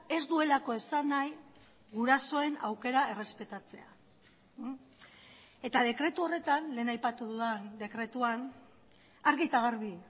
ez duelako esan nahi gurasoen aukera errespetatzea eta dekretu horretan lehen aipatu dudan dekretuan argi eta garbi